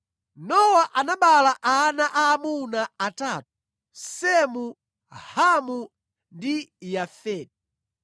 Nowa anabereka ana aamuna atatu: Semu, Hamu ndi Yafeti.